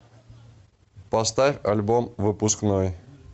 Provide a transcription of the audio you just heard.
поставь альбом выпускной